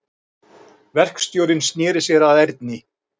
Verkstjórinn sneri sér að Erni.